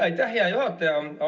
Aitäh, hea juhataja!